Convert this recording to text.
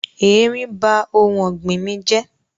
Eerín ba oun ògbìn mí jẹ́